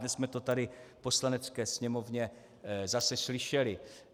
Dnes jsme to tady v Poslanecké sněmovně zase slyšeli.